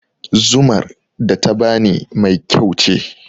Zumar da ta bani mai kyau ce